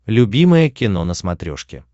любимое кино на смотрешке